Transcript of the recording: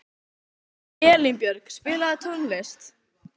Elínbjörg, spilaðu tónlist.